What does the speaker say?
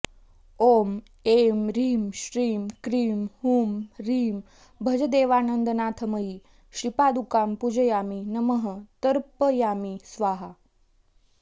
ॐ ऐं ह्रीं श्रीं क्रीं हूं ह्रीं भजदेवानन्दनाथमयी श्रीपादुकां पूजयामि नमः तर्पयामि स्वाहा